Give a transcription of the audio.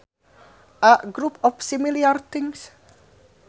A group of similar things